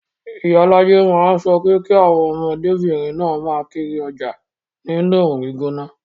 Iyalaje máa ń sọ pé kí àwọn ọmọdébìnrin náà máa kiri ọjà nínú oòrùn gbígbóná